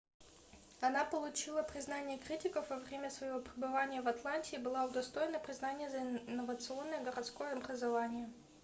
она получила признание критиков во время своего пребывания в атланте и была удостоена признания за инновационное городское образование